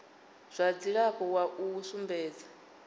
zwa dzilafho wa u sumbedza